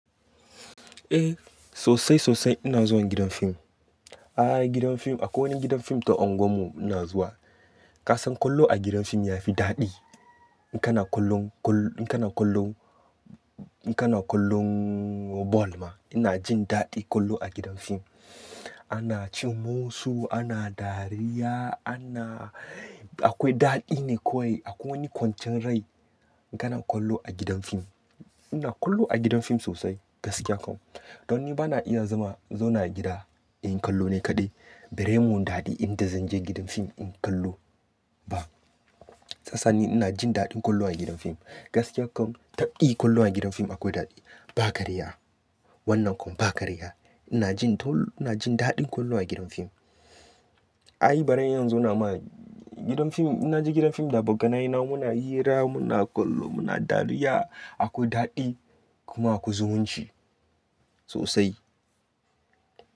Eh sosai sosai ina zuwa gidan fim. Ai gidan fim akwai wani gidan fim ta unguwar mu ina zuwa. Ka san kallo a gidan fim ya fi daɗi. In kana kallon, in kana kallon, in kana kallon ball ma ina jin daɗi kallo a gidan fim. Ana cin musu, ana dariya, ana akwai daɗi ne kawai. Akwai wani kwancin rai in kana kallo a gidan fim. Ina kallo a gidan fim sosai gaskiya kam. Don ni bana iya zama in zauna a gida inyi kallo ni kaɗai. Bari mun daɗin da zan je gidan fim in kallo ba. Shiyasa ni ina jin daɗin kallo a gidan fim. Gaskiya kam tabdi kallo a gidan fim akwai daɗi. Ba karya wannan kam ba karya. Ina jin ta, ina jin daɗin kallo a gidan fim. Ai baren iya zauna ma gidan fim, na je gidan fim da bagganai na muna hira, muna kallo, muna dariya. Akwai daɗi kuma akwai zumunci sosai.